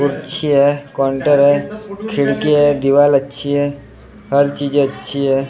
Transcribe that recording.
कुर्सी है काउन्टर है खिड़की है दीवाल अच्छी है हर चीज अच्छी है।